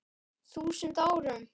þúsund árum.